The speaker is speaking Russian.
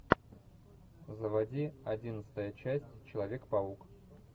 заводи одиннадцатая часть человек паук